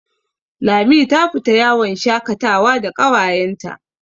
Lami ta fita yawon shakatawa da ƙawayenta.